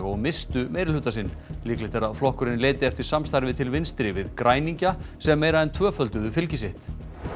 og misstu meirihluta sinn líklegt er að flokkurinn leiti eftir samstarfi til vinstri við græningja sem meira en tvöfölduðu fylgi sitt